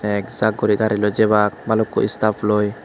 ek jaak guri gariloi jebak balukko staff loi.